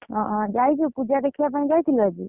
ଓହୋ ଯାଇଛୁ ପୂଜା ଦେଖିବା ପାଇଁ ଯାଇଥିଲୁ ଆଜି?